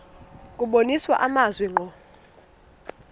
kubonisa amazwi ngqo